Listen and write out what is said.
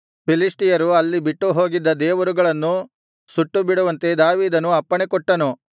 ಫಿಲಿಷ್ಟಿಯರು ಅಲ್ಲಿ ಬಿಟ್ಟುಹೋಗಿದ್ದ ದೇವರುಗಳನ್ನು ಸುಟ್ಟುಬಿಡುವಂತೆ ದಾವೀದನು ಅಪ್ಪಣೆ ಕೊಟ್ಟನು